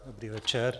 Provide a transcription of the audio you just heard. Dobrý večer.